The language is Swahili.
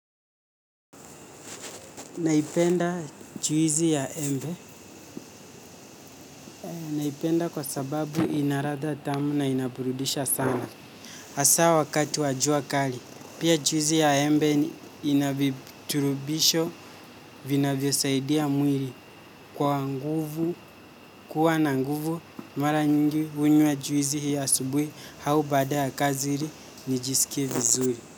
Naipenda juisi ya embe. Naipenda kwa sababu ina ladha tamu na inaburudisha sana. Hasa wakati wa jua kali. Pia juisi ya embe ina viturubisho vinavyosaidia mwili. Kwa nguvu, kuwa na nguvu, mara nyingi huinywa juisi hii asubuhi au baada ya kazi ili nijisikie vizuri.